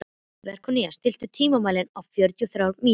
Veróníka, stilltu tímamælinn á fjörutíu og þrjár mínútur.